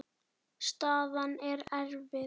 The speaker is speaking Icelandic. Staðan er erfið.